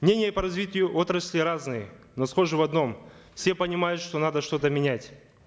мнения по развитию отрасли разные но схожи в одном все понимают что надо что то менять